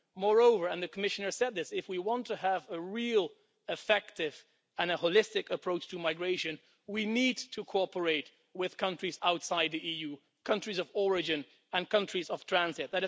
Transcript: Moreover and the Commissioner said this if we want to have a real, effective and holistic approach to migration, we need to cooperate with countries outside the EU countries of origin and countries of transit.